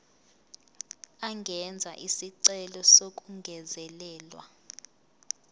angenza isicelo sokungezelelwa